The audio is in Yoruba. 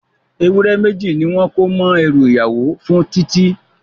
Ewúré méjì ni wọ́n kó mọ́ ẹrú ìyàwó fún Titi